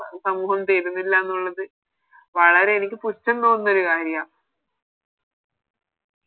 സമൂഹം തരുന്നില്ലന്നുള്ളത് വളരെ എനിക്ക് പുച്ഛം തോന്നുന്നൊരു കാര്യാ